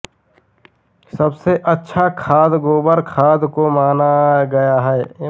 सबसे अच्छा खाद गोबर खाद को माना गया है